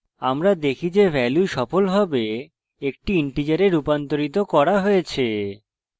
আমরা দেখি যে value সফলভাবে একটি integer রূপান্তরিত করা হয়েছে